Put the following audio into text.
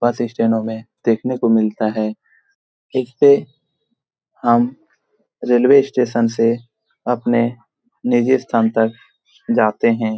बस स्टैंडो में देखने को मिलता है इसपे हम रेलवे स्टेशन से अपने निजी स्थान तक जाते हैं।